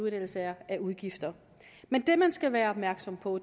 ellers er af udgifter men det man skal være opmærksom på